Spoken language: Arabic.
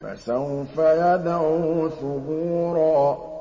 فَسَوْفَ يَدْعُو ثُبُورًا